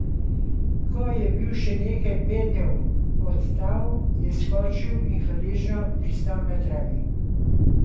Ko je bil še nekaj pednjev od tal, je skočil in hvaležno pristal na travi.